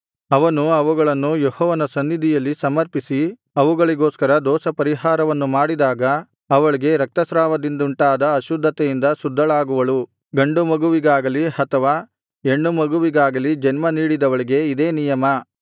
ಅವನು ಅವುಗಳನ್ನು ಯೆಹೋವನ ಸನ್ನಿಧಿಯಲ್ಲಿ ಸಮರ್ಪಿಸಿ ಅವಳಿಗೋಸ್ಕರ ದೋಷಪರಿಹಾರವನ್ನು ಮಾಡಿದಾಗ ಅವಳಿಗೆ ರಕ್ತಸ್ರಾವದಿಂದುಂಟಾದ ಅಶುದ್ಧತೆಯಿಂದ ಶುದ್ಧಳಾಗುವಳು ಗಂಡುಮಗುವಿಗಾಗಲಿ ಅಥವಾ ಹೆಣ್ಣು ಮಗುವಿಗಾಗಲಿ ಜನ್ಮ ನೀಡಿದವಳಿಗೆ ಇದೇ ನಿಯಮ